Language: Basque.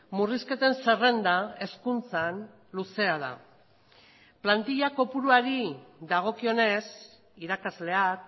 murrizketen zerrenda hezkuntzan luzea da plantilla kopuruari dagokionez irakasleak